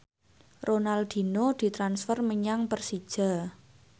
Ronaldinho ditransfer menyang Persija